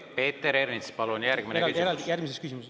Peeter Ernits, palun järgmine küsimus.